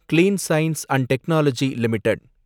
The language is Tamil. clean science and technology limited